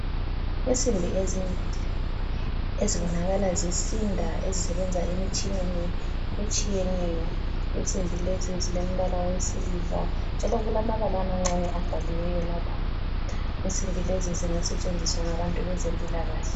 Insimbi ezimbili, ezibonakala zisinda ezisebenza emtshineni etshiyeneyo. Insimbi lezi zilombala wesiliva njalo kulabamala amancane abhaliweyo lapha. Insimbi lezi zinga setshenziswa ngabantu bezempila kahle.